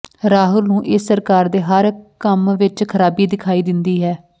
ਰਾਹੁਲ ਨੂੰ ਇਸ ਸਰਕਾਰ ਦੇ ਹਰ ਕੰਮ ਵਿਚ ਖ਼ਰਾਬੀ ਦਿਖਾਈ ਦਿੰਦੀ ਹੈ